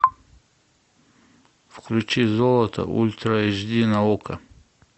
включи золото ультра эйч ди на окко